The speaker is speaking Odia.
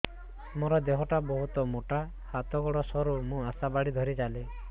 ମୋର ଦେହ ଟା ବହୁତ ମୋଟା ହାତ ଗୋଡ଼ ସରୁ ମୁ ଆଶା ବାଡ଼ି ଧରି ଚାଲେ